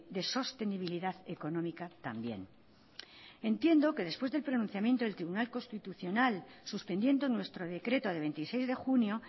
de sostenibilidad económica también entiendo que después del pronunciamiento del tribunal constitucional suspendiendo nuestro decreto de veintiséis de junio